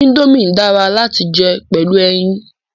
Indomie dara lati jẹ pẹlu ẹyin